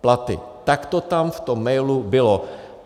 Tak to tam v tom mailu bylo.